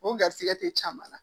O garisɛgɛ tɛ caman na